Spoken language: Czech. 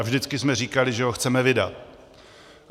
A vždycky jsme říkali, že ho chceme vydat.